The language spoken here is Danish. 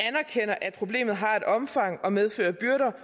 problemet har et omfang og medfører byrder